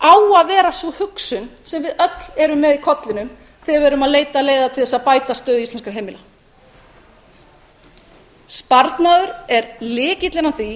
á að vera sú hugsun sem við öll erum með í kollinum þegar við erum að leita leiða til þess að bæta stöðu íslenskra heimila sparnaður er lykillinn að því